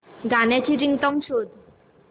गाण्याची रिंगटोन शोध